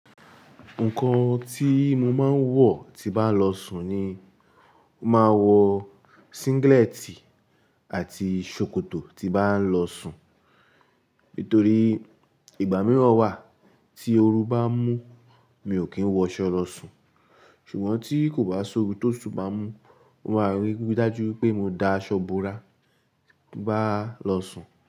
Nǹkan tí mo máa ń wọ̀ tí bá lọ sùn ni, mo máa wọ singleti àti ṣòkòtò tí bá ń lọ sùn. Nítorí ìgbà mìíràn wà tí oru bá ń mú, mi ò kí ń wọ aṣọ lọ sùn. Ṣùgbọ́n tí kò bá ṣi ooru. To tutu bá ń mú, mo máa rí gbé dájú pé mo da aṣọ búra bá lọ sùn.